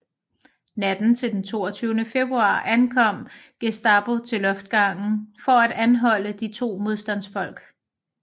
Natten til den 22 februar ankom Gestapo til loftsgangen for at anholde de to modstandsfolk